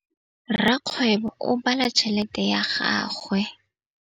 Rakgwêbô o bala tšheletê ya gagwe.